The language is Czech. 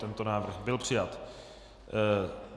Tento návrh byl přijat.